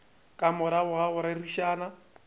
ka morago ga go rerišana